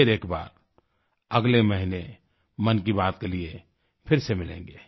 फिर एक बार अगले महीने मन की बात के लिए फिर से मिलेंगें